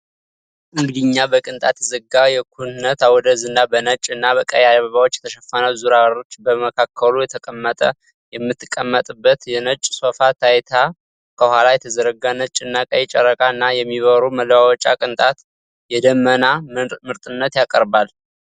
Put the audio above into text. እንግዲኛ በቅንጣት የተዘጋ የኩነት አውደ ዝና በነጭ እና ቀይ አበባዎች የተሸፈነ ዙር አርች በመካከሉ የተቀመጠ የምትቀመጥበት የነጭ ሶፋ ታይቷል። ከኋላ የተዘረጋ ነጭ እና ቀይ ጨረቃ እና የሚብሩ መለዋወጫ ቅንጣት የደመና ምርጥነትን ያቀርባል።